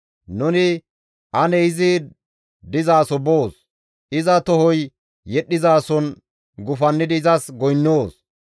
Nuni, «Ane izi dizaso boos; iza tohoy yedhdhizason gufannidi izas goynnoos.